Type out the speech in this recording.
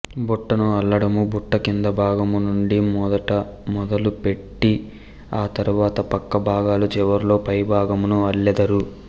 బుట్టను అల్లడము బుట్ట క్రింది భాగము నుండు మొదట మొదలు పెట్తి అతరువాత పక్కభాగాలు చివరలో పై భాగమును అల్లెదరు